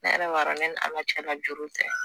Ne yɛrɛ b'a dɔn ne ni Ala cɛla juru tɛ